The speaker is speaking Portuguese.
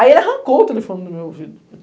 Aí ele arrancou o telefone do meu ouvido.